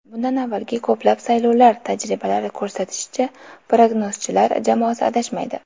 Bundan avvalgi ko‘plab saylovlar tajribalari ko‘rsatishicha, prognozchilar jamoasi adashmaydi.